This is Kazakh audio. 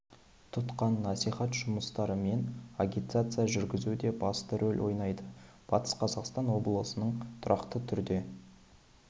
тұтқан насихат жұмыстары мен агитация жүргізу де басты рөл ойнайды батыс қазақстан облысының тұрақты түрде